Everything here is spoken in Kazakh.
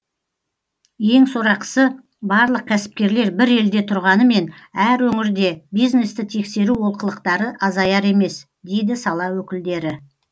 ең сорақысы барлық кәсіпкерлер бір елде тұрғанымен әр өңірде бизнесті тексеру олқылықтары азаяр емес дейді сала өкілдері